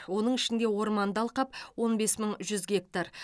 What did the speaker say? оның ішінде орманды алқап он бес мың жүз гектар